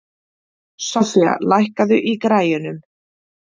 Sofía, lækkaðu í græjunum.